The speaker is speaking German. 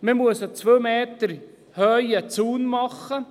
Man muss einen zwei Meter hohen Zaun erstellen.